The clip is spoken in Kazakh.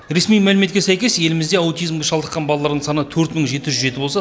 ресми мәліметке сәйкес елімізде аутизмге шалдыққан балалардың саны төрт мың жеті жүз жеті болса